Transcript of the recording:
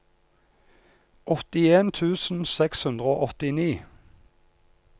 åttien tusen seks hundre og åttini